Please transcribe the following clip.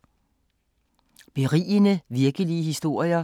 Berigende virkelige historier